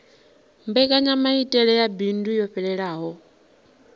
mbekanyamaitele ya bindu yo fhelelaho